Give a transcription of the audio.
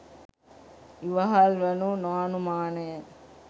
ඉවහල් වනු නො අනුමානය.